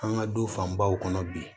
An ka du fanbaw kɔnɔ bi